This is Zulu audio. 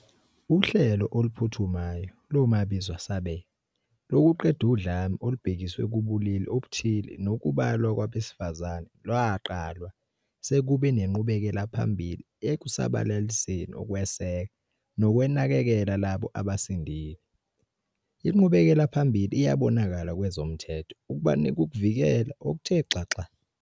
uHlelo Oluphuthumayo Lomabizwasabele lokuqeda udlame olubhekiswe kubulili obuthile nokubulawa kwabesifazane lwaqalwa sekube nenqubekelaphambili ekusabalaliseni ukweseka nokunakekela labo abasindile, inqubekelaphambili iyabonakala kwezomthetho ukubanika ukuvikeleka okuthe xaxa.